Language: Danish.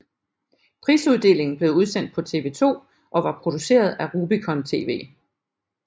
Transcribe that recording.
Prisuddelingen blev udsendt på TV2 og var produceret af Rubicon TV